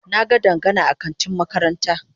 Na ga Dangana a kantin makaranta.